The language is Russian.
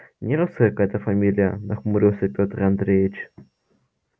нерусская какая-то фамилия нахмурился пётр андреевич